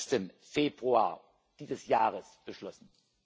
20. Februar dieses Jahres beschlossen.